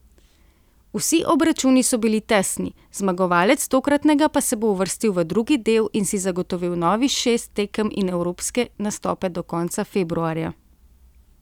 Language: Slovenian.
Vsi obračuni so bili tesni, zmagovalec tokratnega pa se bo uvrstil v drugi del in si zagotovil novih šest tekem in evropske nastope do konca februarja.